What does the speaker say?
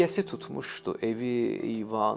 Kölgəsi tutmuşdu evi, eyvanı.